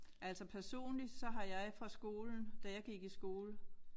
Altså personligt så har jeg fra skolen da jeg gik i skole